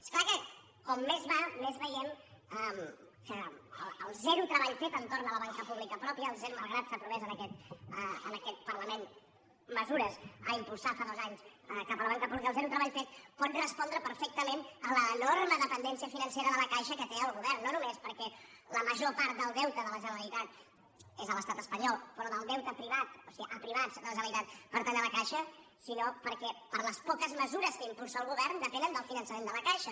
és clar que com més va més veiem que el zero treball fet entorn de la banca pública pròpia malgrat que s’aprovessin en aquest parlament mesures a impulsar fa dos anys cap a la banca pública el zero treball fet pot respondre perfectament a l’enorme dependència financera de la caixa que té el govern no només perquè la major part del deute de la generalitat és a l’estat espanyol però del deute privat o sigui a privats de la generalitat pertany a la caixa sinó perquè per a les poques mesures que impulsa el govern depenen del finançament de la caixa